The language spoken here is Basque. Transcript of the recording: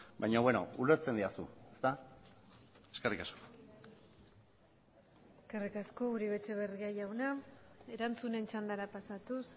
baina beno ulertzen didazu ezta eskerrik asko eskerrik asko uribe etxebarria jauna erantzunen txandara pasatuz